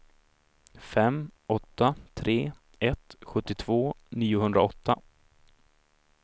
fem åtta tre ett sjuttiotvå niohundraåtta